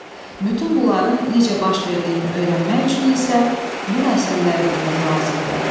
Bütün bunların necə baş verdiyini öyrənmək üçün isə bu məsələləri bilmək lazımdır.